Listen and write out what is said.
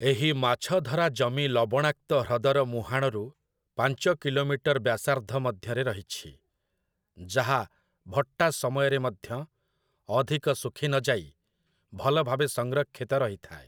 ଏହି ମାଛଧରା ଜମି ଲବଣାକ୍ତ ହ୍ରଦର ମୁହାଣରୁ ପାଞ୍ଚ କିଲୋମିଟର ବ୍ୟାସାର୍ଦ୍ଧ ମଧ୍ୟରେ ରହିଛି, ଯାହା ଭଟ୍ଟା ସମୟରେ ମଧ୍ୟ ଅଧିକ ଶୁଖି ନ ଯାଇ ଭଲ ଭାବେ ସଂରକ୍ଷିତ ରହିଥାଏ ।